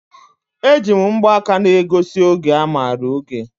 E ji mgbaka na egosi oge a mara oge.